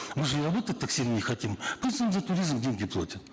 мы же и работать так сильно не хотим пусть он за туризм деньги платят